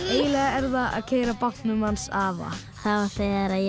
eiginlega er það að keyra á bátnum hans afa það var þegar ég